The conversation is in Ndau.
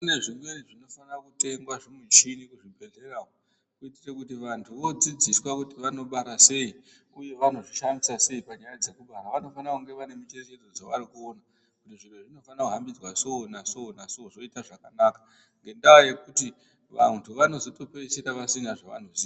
Kune zvimweni zvinofana kutengwa zvimuchini muzvibhehlera umwu kuitire kuti vantu voodzidziswa kuti vanobara sei uye vanozvishambisa sei panyaya dzekubara. Vanofana kunge vane mucherechedzo dzavari kuona kuti zviro izvi zvinofana kuhambidzwa so naso naso zvoita zvakanaka ngendaa yekuti vantu vanozotopedzisira vasina zvavanoziya.